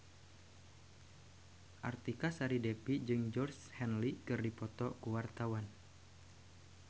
Artika Sari Devi jeung Georgie Henley keur dipoto ku wartawan